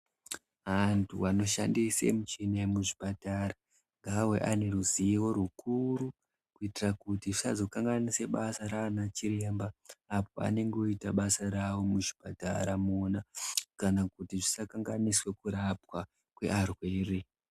Antu anoshandise muchini yemuzvipatara ngaawe ane ruziwo rukuru kuitire kuti asazokanganise basa raana chiremba apo anenge oite basa rawo muzhipatara mwona kana kuti zvisakanganise kurapwa kwevarwere.